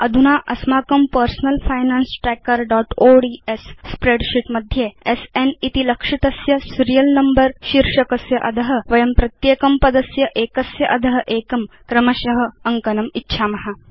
अधुना अस्माकं personal finance trackerओड्स् स्प्रेडशीट् मध्ये स्न इति लक्षितस्य सीरियल नम्बर शीर्षकस्य अध वयं प्रत्येकं पदस्य एकस्य अध एकं क्रमश अङ्कनम् इच्छाम